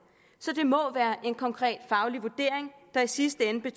så det må være en konkret faglig vurdering der i sidste ende